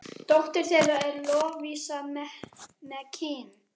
Dóttir þeirra er Lovísa Mekkín.